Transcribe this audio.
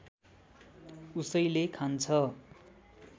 उसैले खान्छ